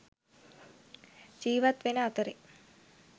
ජිවත් වෙන අතරෙ